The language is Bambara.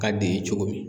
Ka d'i ye cogo min